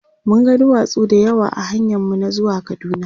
mun ga duwatsu da yawa ahanyan mu na zuwa kaduna